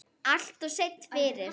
Alltof seinn fyrir.